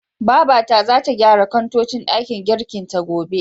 Babata zata gyara kantocin ɗakin girkin ta, gobe.